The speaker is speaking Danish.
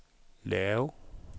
lav